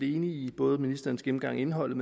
i både ministerens gennemgang af indholdet